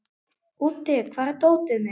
Úddi, hvar er dótið mitt?